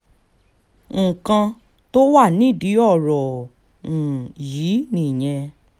nǹkan tó wà nídìí ọ̀rọ̀ um yìí nìyẹn